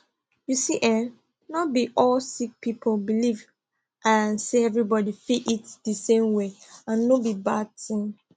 you see eh not be all sick people believe ah say everybody fit eat di same way and no be bad tin